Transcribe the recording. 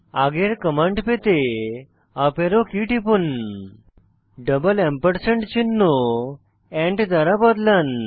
আগের কমান্ড পেতে up arrow key টিপুন ডাবল এম্পারস্যান্ড চিহ্ন এন্ড দ্বারা বদলান